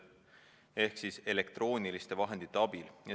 Ehk siis jäi sõnastus "elektrooniliste vahendite abil".